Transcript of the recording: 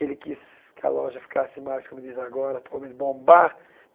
Ele quis que a loja ficasse mais, como diz agora, atualmen bombar.